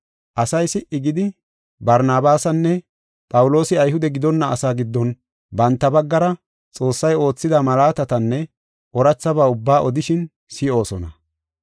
Asay si77i gidi, Barnabaasinne Phawuloosi Ayhude gidonna asaa giddon banta baggara Xoossay oothida malaatatanne oorathaba ubbaa odishin si7oosona.